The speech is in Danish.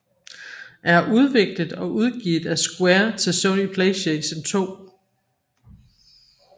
er udviklet og udgivet af Square til Sony PlayStation 2